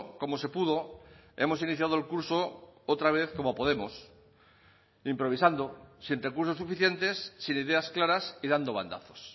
como se pudo hemos iniciado el curso otra vez como podemos improvisando sin recursos suficientes sin ideas claras y dando bandazos